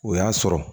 O y'a sɔrɔ